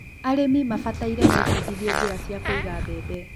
arĩmi mabataire mebudithie njĩra cia kũiga mbembe